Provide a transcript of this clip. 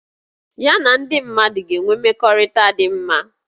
Ya na ndị mmadụ ga-enwe mmekọrịta dị mma